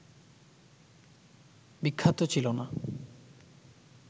বিখ্যাত ছিল না